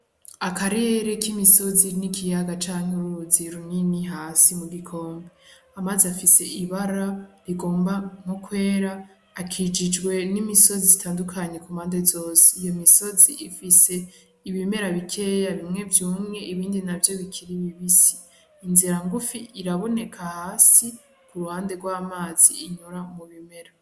Akarere k'imisozi n'ikiyaga canke uruzi runini hasi mu gikombe, amazi afise ibara rigomba nko kwera akikujwe n'imisozi itandukanye kumpande zose, iyo misozi ifise ibimera bikeya bimwe vyumye ibindi navyo bikiri bibisi, inzira ngufi iraboneka hasi kuruhande rw'amazi inyura mu bimera.